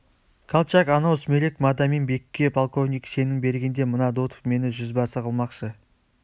колчак анау сүмелек мадамин-бекке полковник шенін бергенде мына дутов мені жүзбасы қылмақшы